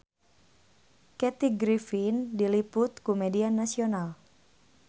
Kathy Griffin diliput ku media nasional